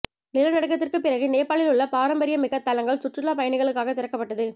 நிலநடுக்கத்திற்கு பிறகு நேபாளில் உலக பாரம்பரியமிக்க தளங்கள் சுற்றுலா பயணிகளுக்காக திறக்கப்பட்டது